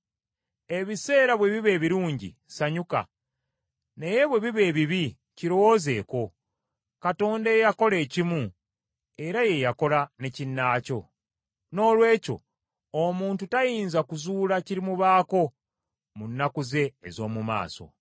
Ebiseera bwe biba ebirungi, sanyuka; naye bwe biba ebibi, kirowoozeeko; Katonda eyakola ekimu era ye yakola ne kinnaakyo. Noolwekyo omuntu tayinza kuzuula kirimubaako mu nnaku ze ez’omu maaso.